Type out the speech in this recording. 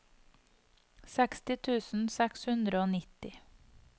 seksti tusen seks hundre og nitti